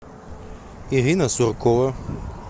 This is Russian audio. ирина суркова